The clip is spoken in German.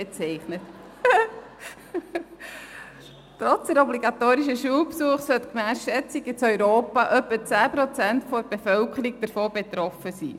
Trotz des Besuchs der obligatorischen Schule sollen gemäss Schätzungen in Europa etwa 10 Prozent der Bevölkerung davon betroffen sein.